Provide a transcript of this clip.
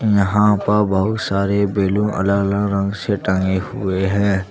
यहाँ पर बहुत सारे बैलून अलग- अलग रंग से टंगे हुए है।